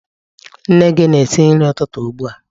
Nne gị na-esi nri ụtụtụ ugbu a.